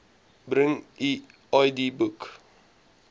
bring u idboek